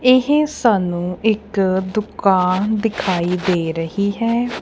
ਇਹ ਸਾਨੂੰ ਇੱਕ ਦੁਕਾਨ ਦਿਖਾਈ ਦੇ ਰਹੀ ਹੈ।